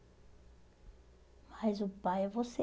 Mas o pai é você.